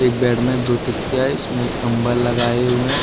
Bed में दो तकिया है इसमें कंबल लगाए हुए हैं।